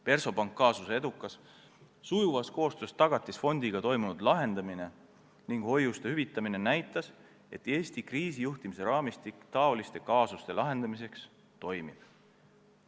Versobanki kaasuse edukas, sujuvas koostöös Tagatisfondiga toimunud lahendamine ning hoiuste hüvitamine näitas, et Eesti kriisijuhtimise raamistik selliste kaasuste lahendamiseks toimib.